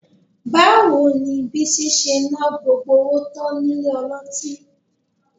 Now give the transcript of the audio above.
Báwo ni Bísí ṣe ná gbogbo owó tán nílé ọlọ́tí?